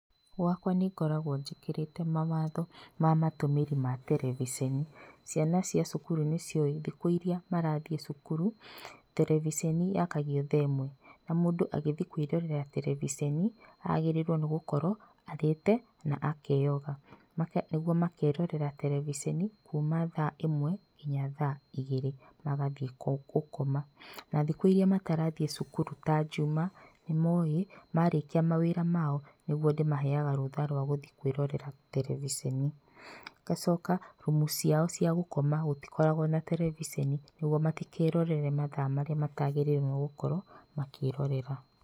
Gwakwa nĩngoragwo njĩkĩrĩte mawatho ma matũmĩri ma terebiceni. Ciana cia cukuru nĩ cĩũwĩ thikũ irĩa marathiĩ cukuru terebeceni yakagio thaa ĩmwe na mũndũ agĩthiĩ kwĩrorera terebiceni agĩrĩirwo nĩ gũkorwo arĩte na akenyoga nĩguo makerorera terebeceni kuma thaa ĩmwe nginya thaa igĩrĩ magathiĩ gũkoma. Na thikũ iria matarathiĩ cukuru ta njuma nĩmowĩ marĩkia mawĩra ma o nĩguo ndĩmaheyaga rũtha wa gũthiĩ kwĩrorera terebeceni. Ngacoka rumu ciao cia gũkoma gũtikoragwo terebiceni nĩguo matikerorere mathaa marĩa matagĩrĩrwo nĩgũkorwo makĩrorera.